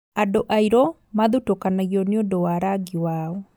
Andũ airũ mathutũkanagio nĩũndũ wa rangi wao